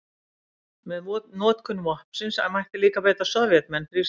Með notkun vopnsins mætti líka beita Sovétmenn þrýstingi.